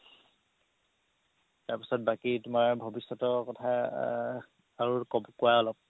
তাৰ পিছত বাকি তুমাৰ ভৱিষ্যতৰ কথা আৰু কুৱা অলপ